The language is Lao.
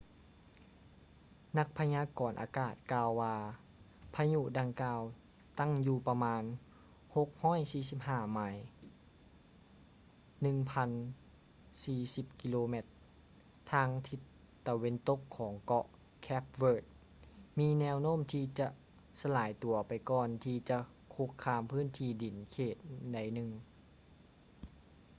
ນັກພະຍາກອນອາກາດກ່າວວ່າ ພະຍຸດັ່ງກ່າວຕັ້ງຢູ່ປະມານ 645 ໄມ 1040 ກມ ທາງທິດຕາເວັນຕົກຂອງເກາະ ເຄບ ເວີດ cape verde ມີແນວໂນ້ມທີ່ຈະສະລາຍຕົວໄປກ່ອນທີ່ຈະຄຸກຄາມພື້ນທີ່ດິນເຂດໃດໜຶ່ງ